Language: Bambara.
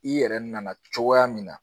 I yɛrɛ nana cogoya min na